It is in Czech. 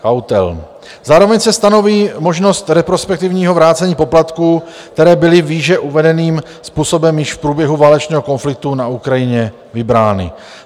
Zároveň se stanoví možnost retrospektivního vrácení poplatků, které byly výše uvedeným způsobem již v průběhu válečného konfliktu na Ukrajině vybrány.